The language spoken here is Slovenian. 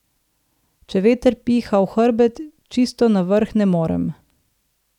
Če veter piha v hrbet, čisto na vrh ne morem.